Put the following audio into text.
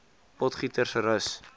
potgietersrus